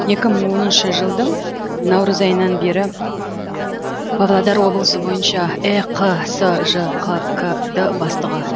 екі мың оныншы жылдың наурыз айынан бері павлодар облысы бойынша эқсжқкд бастығы